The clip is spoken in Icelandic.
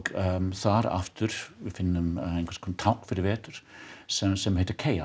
þar aftur finnum við einhvers konar tákn fyrir vetur sem sem heitir